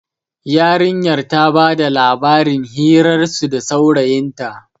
yarinyar ta bada labarin hirarsu da saurayinta